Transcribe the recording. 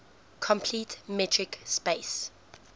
complete metric space